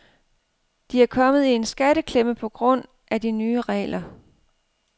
De er kommet i en skatteklemme på grund af de nye regler.